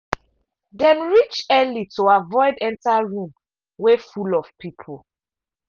dem reach early to avoid enter room wey full of people.